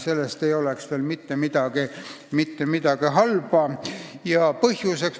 Sellest ei sünniks mitte midagi halba.